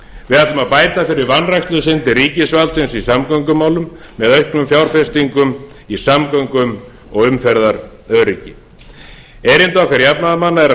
við ætlum að bæta fyrir vanrækslusyndir ríkisvaldsins í samgöngumálum með auknum fjárfestingum í samgöngum og umferðaröryggi erindi okkar jafnaðarmanna er að